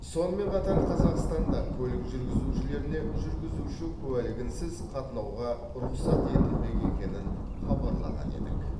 сонымен қатар қазақстанда көлік жүргізушілеріне жүргізуші куәлігінсіз қатынауға рұқсат етілмек екенін хабарлаған едік